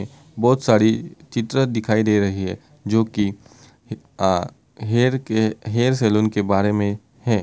बहुत सारी चित्र दिखाई दे रही है जो की हेयर के - हेयर सलून के बारे में है।